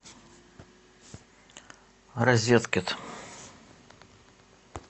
розеткед